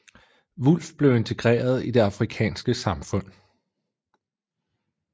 Wulff blev integreret i det afrikanske samfund